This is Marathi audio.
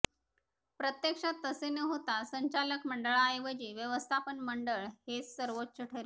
प्रत्यक्षात तसे न होता संचालक मंडळाऐवजी व्यवस्थापन मंडळ हेच सर्वोच्च ठरेल